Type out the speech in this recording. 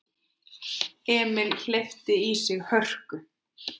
Emil hleypti í sig hörku.